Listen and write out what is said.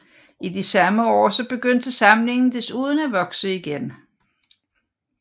I de samme år begyndte samlingen desuden at vokse igen